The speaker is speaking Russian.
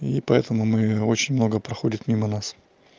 и поэтому мы очень много проходит мимо нас